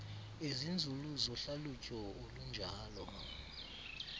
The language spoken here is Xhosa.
ezinzulu zohlalutyo olunjalo